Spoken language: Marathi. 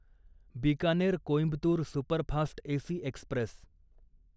Bikaner Coimbatore superfast AC Express